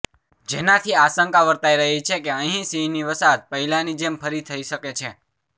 જેનાથી આશંકા વર્તાઇ રહી છે કે અહીં સિંહની વસાહત પહેલાની જેમ ફરી થઇ શકે છે